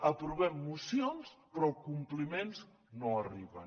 aprovem mocions però els compliments no arriben